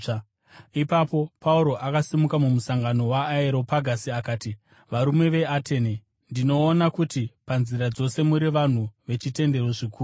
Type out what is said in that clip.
Ipapo Pauro akasimuka mumusangano weAreopagasi akati, “Varume veAtene! Ndinoona kuti panzira dzose muri vanhu vechitendero zvikuru.